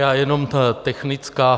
Já jenom technická.